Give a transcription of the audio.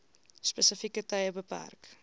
spesifieke tye beperk